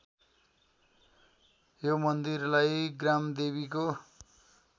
यो मन्दिरलाई ग्रामदेवीको